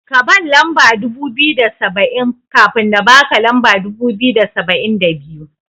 Kaban lamba dubu biyu da saba'in, kafin na baka lamba dubu biyu da saba'in da biyu.